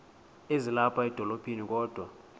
ezilapha edolophini kodwa